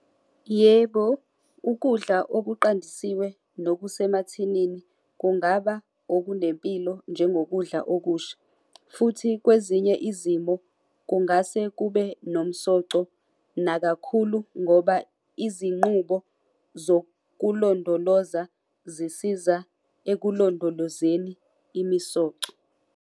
Yebo, ukudla okuqandisiwe nokusemathinini kungaba okunempilo njengokudla okusha. Futhi kwezinye izimo kungase kube nomsoco nakakhulu ngoba izinqubo zokulondoloza zisiza ekulondolozeni imisoco.